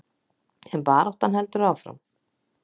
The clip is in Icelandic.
En baráttan heldur áfram.